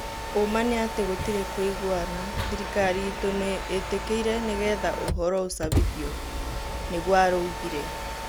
"ũma nĩ atĩ gũtirĩ kũigũana" thirikari ĩtu nĩ ĩtikirĩ nĩgetha ũhoro ũcabithio," nigũo araugire